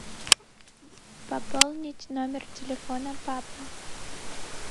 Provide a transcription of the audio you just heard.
пополнить номер телефона папы